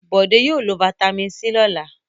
Bọ̀dé yóò lo fataímìn C lọ́la.